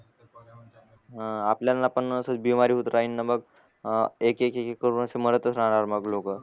ह आपल्यांना पण असच बिमारी होत राहीन मग अ एक एक करून असे मरतच राहणार मग लोक